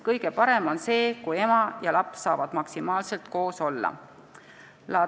Kõige parem on see, kui ema ja laps saavad maksimaalselt koos olla.